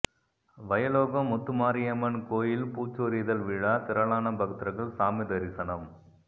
வயலோகம் முத்துமாரியம்மன் கோயில் பூச்சொரிதல் விழா திரளான பக்தர்கள் சாமி தரிசனம்